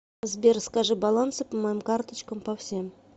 сбер скажи балансы по моим карточкам по всем